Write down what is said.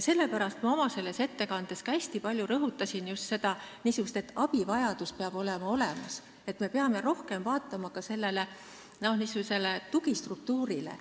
Sellepärast ma oma ettekandes hästi palju rõhutasin just seda, et abi peab olemas olema, et me peame rohkem mõtlema tugistruktuurile.